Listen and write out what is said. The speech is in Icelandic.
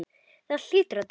Þetta hlýtur að duga.